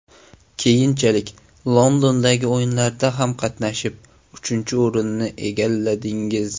Keyinchalik Londondagi O‘yinlarda ham qatnashib, uchinchi o‘rinni egalladingiz.